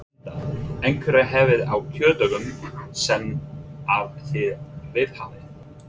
Linda: Einhverjar hefðir á kjördögum sem að þið viðhafið?